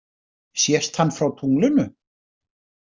Sést hann frá tunglinu?